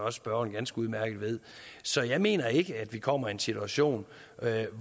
at spørgeren ganske udmærket ved så jeg mener ikke at vi kommer i en situation